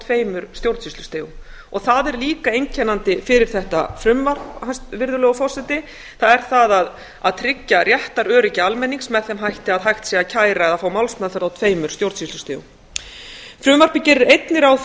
tveimur stjórnsýslustigum og það er líka einkennandi fyrir þetta frumvarp það er að tryggja réttaröryggi almennings með þeim hætti að hægt sé að kæra eða fá málsferð á tveimur stjórnsýslustigum frumvarpið gerir einnig ráð